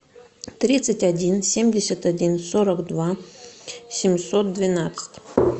тридцать один семьдесят один сорок два семьсот двенадцать